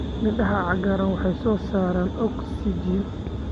Midhaha cagaaran waxay soo saaraan oksijiin.